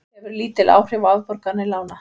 Hefur lítil áhrif á afborganir lána